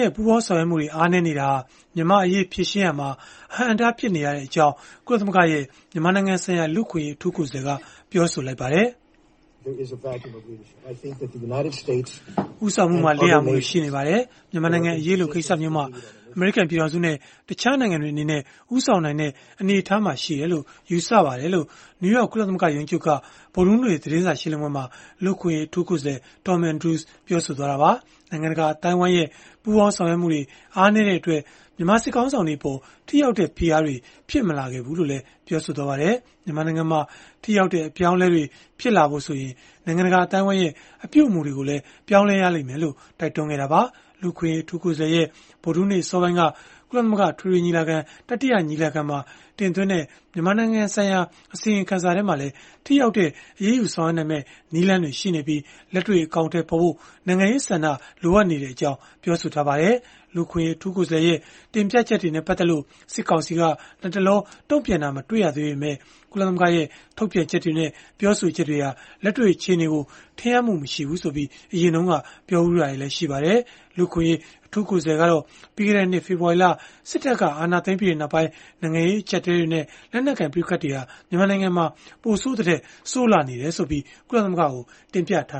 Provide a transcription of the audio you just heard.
ရဲ့ ပူးပေါင်းဆောင်ရွက်မှုတွေ အားနည်းနေတာဟာ မြန်မာ့အရေး ဖြေရှင်းရာမှာ အဟန့်အတား ဖြစ်နေရကြောင်း ကုလသမဂ္ဂရဲ့ မြန်မာနိုင်ငံဆိုင်ရာ လူ့အခွင့်အရေး အထူးကိုယ်စားလှယ်က ပြောလိုက်ပါတယ်။ “ဦးဆောင်မှုမှာ လစ်ဟာမှုတွေ ရှိနေပါတယ်။ မြန်မာနိုင်ငံအရေးလို ကိစ္စမျိုးမှာ အမေရိကန် ပြည်ထောင်စုနဲ့ တခြားနိုင်ငံတွေ အနေနဲ့ ဦးဆောင်နိုင်တဲ့ အနေအထားမှာ ရှိတယ်လို့ ယူဆပါတယ်။” လို့ နယူးယောက် ကုလသမဂ္ဂ ရုံးချုပ်က ဗုဒ္ဓဟူးနေ့ သတင်းစာရှင်းလင်းပွဲမှာ လူ့အခွင့်အရေး အထူးကိုယ်စားလှယ် Tom Andrews ကပြောသွားတာပါ။ နိုင်ငံတကာ အသိုင်းအဝိုင်းရဲ့ ပူးပေါင်းဆောင်ရွက်မှုတွေ အားနည်းတဲ့အတွက် မြန်မာစစ်ခေါင်းဆောင်တွေအပေါ် ထိရောက်တဲ့ ဖိအားတွေ ဖြစ်မလာခဲ့ဖူးလို့လည်း ပြောပါတယ်။ မြန်မာနိုင်ငံမှာ ထိရောက်တဲ့ အပြောင်းအလဲတွေ ဖြစ်လာဖို့ဆိုရင် နိုင်ငံတကာ အသိုင်းအဝိုင်းရဲ့ အပြုအမူတွေကိုလည်း ပြောင်းရလိမ့်မယ်လို့ တိုက်တွန်းခဲ့တာပါ။ လူ့အခွင့်အရေး အထူးကိုယ်စားလှယ်ရဲ့ ဗုဒ္ဓဟူးနေ့ အစောပိုင်းက ကုလသမဂ္ဂ အထွေထွေညီလာခံရဲ့ တတိယညီလာခံမှာ တင်သွင်းတဲ့ မြန်မာနိုင်ငံဆိုင်ရာ အစီရင်ခံစာမှာလည်း ထိရောက်တဲ့ အရေးယူဆောင်ရွက်နိုင်မယ့် နည်းလမ်းတွေ ရှိနေပြီး၊ လက်တွေ့အကောင်အထည်ဖော်ဖို့ နိုင်ငံရေးဆန္ဒ လိုအပ်နေကြောင်း ပြောဆိုထားပါတယ်။ လူ့အခွင့်အရေး အထူးကိုယ်စားလှယ်ရဲ့ တင်ပြချက်တွေနဲ့ ပတ်သက်လို့ စစ်ကောင်စီက လတ်တလော တုံ့ပြန်တာ မတွေ့ရသေးပေမဲ့၊ ကုလသမဂ္ဂရဲ့ ထုတ်ပြန်ချက်တွေနဲ့ ပြောဆိုချက်တွေဟာ လက်တွေ့ အခြေအနေကို ထင်ဟပ်မှု မရှိဘူးဆိုပြီး အရင်ကပြောတာတွေ ရှိခဲ့ဖူးပါတယ်။ လူ့အခွင့်အရေး အထူးကိုယ်စားလှယ်ကတော့ ပြီးခဲ့တဲ့နှစ် ဖေဖော်ဝါရီလ စစ်တပ်က အာဏာသိမ်းပြီးနောက်ပိုင်း နိုင်ငံရေးအကျပ်အတည်းတွေနဲ့ လက်နက်ကိုင် ပဋိပက္ခတွေဟာ ပိုဆိုးသထက် ဆိုးလာနေတယ်ဆိုပြီး ကုလသမဂ္ဂကို တင်ပြထာ